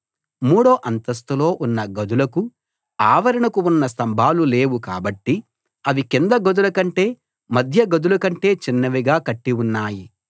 మూడో అంతస్థులో ఉన్న గదులకు ఆవరణకు ఉన్న స్తంభాలు లేవు కాబట్టి అవి కింద గదులకంటే మధ్య గదులకంటే చిన్నవిగా కట్టి ఉన్నాయి